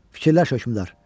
Fikirləş hökmdar!